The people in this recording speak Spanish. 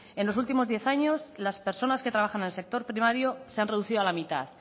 en los últimos diez años las personas que trabajan en el sector primario se ha reducido a la mitad